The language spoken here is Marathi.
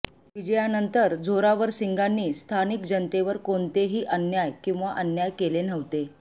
विजयानंतर झोरावरसिंगांनी स्थानिक जनतेवर कोणतेही अन्याय किंवा अन्याय केले नव्हते